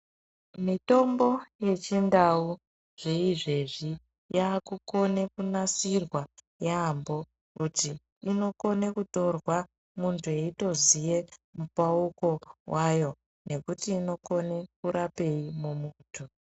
Mitombo yechiNdau zveizvezvi yaakukone kunasirwa yaambo kuti inokone kutorwa muntu eitoziye mupauko wayo nekuti inokone kurapei mumuntu.